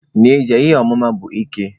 N'ezie, ihe ọmụma bụ ike.